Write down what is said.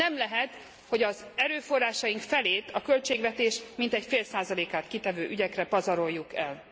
Nem lehet, hogy az erőforrásaink felét a költségvetés mintegy fél százalékát kitevő ügyekre pazaroljuk el.